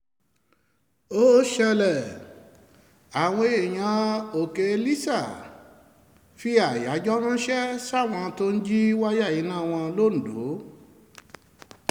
ó ṣẹlẹ̀ àwọn èèyàn òkèlísà èèyàn òkèlísà fi àyájọ́ ránṣẹ́ sáwọn tó ń jí wáyà iná wọn londo